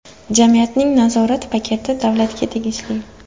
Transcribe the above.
Jamiyatning nazorat paketi davlatga tegishli.